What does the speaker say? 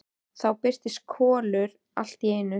Þá birtist Kolur allt í einu.